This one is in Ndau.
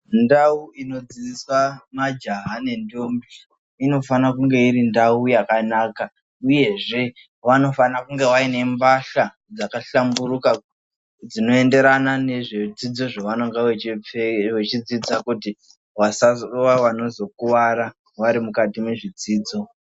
Ndau inodzidzisa majaha nendombi inofana kunge iri ndau yakanaka uyezve vanofanira kunge vainembahla dzakahlamburuka dzinoenderana nezvidzidzo zvavenge vechidzidza kuti vasazokuvara vari mukati mezvidzido